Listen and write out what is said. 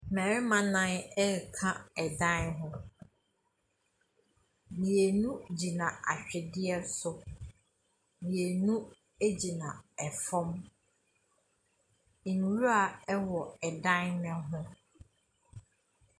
Mmarima nan reka dan ho. Mmienu gyina atwedeɛ so. Mmienu gyina fam. Nwura wɔ dan no ho.